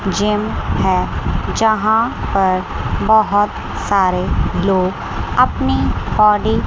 gym है यहां पर बहुत सारे लोग अपनी बॉडी --